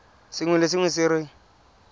sengwe le sengwe se re